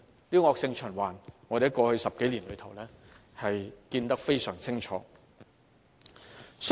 這種惡性循環，我們過去10多年看得非常清楚。